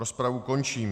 Rozpravu končím.